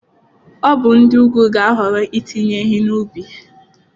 Ọ bụ ndị ugwu ga-ahọrọ itinye ehi n'ubi.